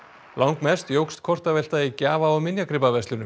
langmest jókst kortavelta í gjafa og